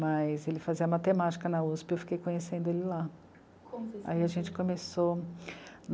Mas ele fazia matemática na u esse pê, eu fiquei conhecendo ele lá. Aí a gente começou